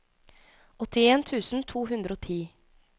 åttien tusen to hundre og ti